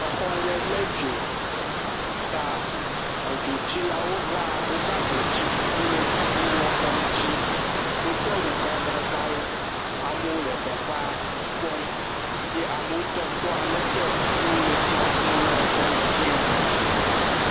Exɔ aɖe lé dzo ta edzotsilawo va wova edzo tsim wole tsi wum exɔ ŋuti wodo awu gãgãgãwo, amewo le teƒea kpɔm ye amewo tɔ kpɔ aleke wole tsi wum exɔ ŋutia.